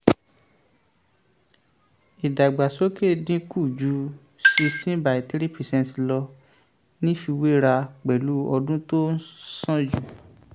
um ìdàgbàsókè dín kù ju sixteen by three per cent lọ nífiwéra pẹ̀lú ọdún tó um tó ń sànjù.